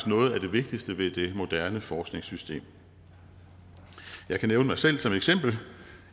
noget af det vigtigste ved det moderne forskningssystem jeg kan nævne mig selv som eksempel